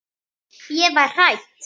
Ég var hrædd.